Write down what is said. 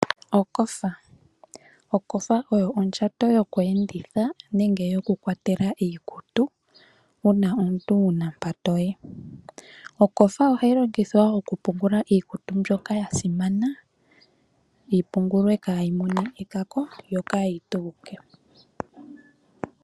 Okofa oyo ondjato yokweenditha iikutu yokukwatela iikutu uuna omuntu wu na mpa to yi ohayi longithwa wo okupungula iikutu mbyoka ya simana kaayi mone ekaka yo kaayi tuuke.